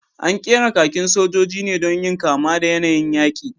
An ƙera kakin sojoji ne don yin kama da yanayin yaƙi